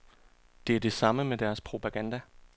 Det er det samme med deres propaganda.